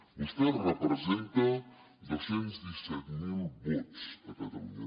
vostè representa dos cents i disset mil vots a catalunya